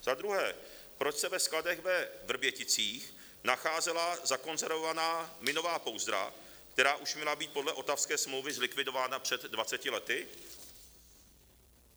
Za druhé, proč se ve skladech ve Vrběticích nacházela zakonzervovaná minová pouzdra, která už měla být podle Ottawské smlouvy zlikvidována před 20 lety?